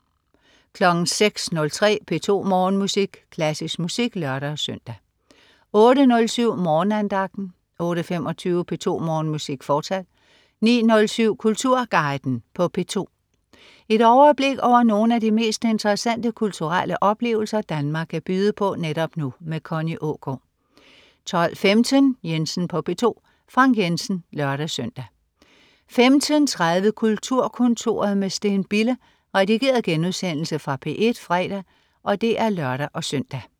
06.03 P2 Morgenmusik. Klassisk musik (lør-søn) 08.07 Morgenandagten 08.25 P2 Morgenmusik, fortsat 09.07 Kulturguiden på P2. Et overblik over nogle af de mest interessante kulturelle oplevelser Danmark kan byde på netop nu. Connie Aagaard 12.15 Jensen på P2. Frank Jensen (lør-søn) 15.30 Kulturkontoret med Steen Bille. Redigeret genudsendelse fra P1 fredag (lør-søn)